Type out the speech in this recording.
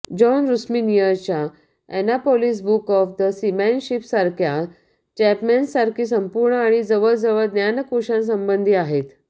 John रुस्मीनियरच्या Annapolis book of सीमॅनशिपसारख्या चॅपमन्ससारखी संपूर्ण आणि जवळजवळ ज्ञानकोशासंबधी आहेत